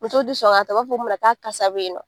Musow t'u sɔn ka ta , u b'a fɔ k'a kasa be yen nɔ.